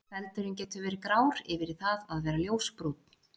Feldurinn getur verið grár yfir í það að vera ljósbrúnn.